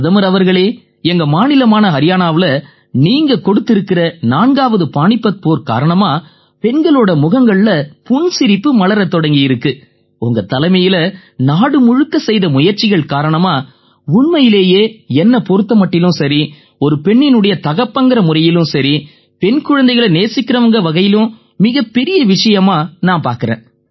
பிரதமர் அவர்களே எங்க மாநிலமான ஹரியாணாவுல நீங்க தொடுத்திருக்கற 4ஆவது பாணிபத் போர் காரணமா பெண்களோட முகங்கள்ல புன்சிரிப்பு மலரத் தொடங்கியிருக்கு உங்க தலைமையில நாடு முழுக்க செய்த முயற்சிகள் காரணமா உண்மையிலேயே என்னைப் பொறுத்த மட்டிலயும் சரி ஒரு பெண்ணின் தகப்பன்ங்கற முறையிலயும் சரி பெண் குழந்தைகளை நேசிக்கறவங்கங்கற வகையிலயும் மிகப் பெரிய விஷயமா நான் பார்க்கறேன்